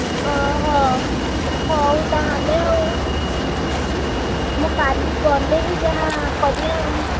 ଓହୋ। ହଉ ତାହେଲେ ଆଉ ମୁଁ କାଲି ଗଲେ ହିଁ ଯାହା କରିଆ ଆଉ।